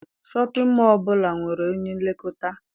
Shọpịn mọọ ọbụla nwere onye nlekọta.